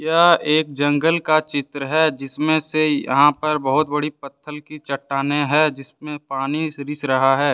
यह एक जंगल का चित्र है। जिसमें से यहां पर बहुत बड़ी पत्थल की चट्टानें है जिसमें पानी रिस रहा है।